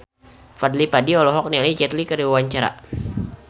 Fadly Padi olohok ningali Jet Li keur diwawancara